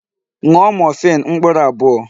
Ṅụọ morphine mkpụrụ abụọ!